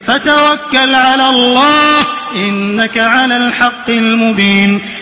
فَتَوَكَّلْ عَلَى اللَّهِ ۖ إِنَّكَ عَلَى الْحَقِّ الْمُبِينِ